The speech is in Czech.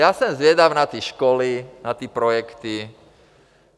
Já jsem zvědav na ty školy, na ty projekty.